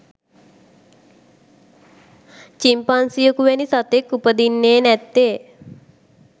චිම්පන්සියෙකු වැනි සතෙක් උපදින්නේ නැත්තේ.